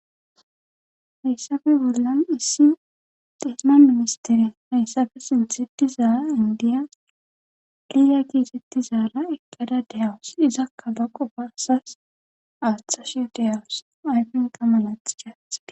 Hayssafe bollan issi desma mimistire hayssafe sinthiti zaaa indiya liya giizetti zaala ekkada dehawus izakka baqo barasas aaththashiyo deyawus ayfon qa malaath caathide